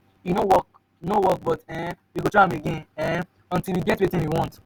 e no work no work but um we go try again um until we get wetin we want.